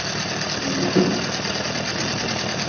Hönnun bílsins höfðaði til mín.